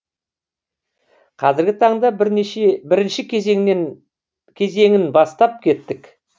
қазіргі таңда бірінші кезеңін бастап кеттік